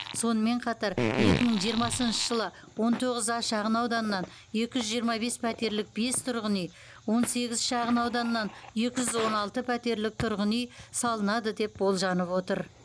сонымен қатар екі мың жиырмасыншы жылы он тоғыз а шағынауданынан екі жүз жиырма бес пәтерлік бес тұрғын үй он сегіз шағынауданнан екі жүз он алты пәтерлік төрт тұрғын үй салынады деп болжанып отыр